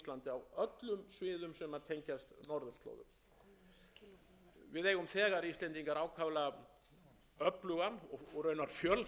ákaflega öflugan og raunar fjölþættan rannsóknarkjarna við háskólann á akureyri og háskóli íslands er líka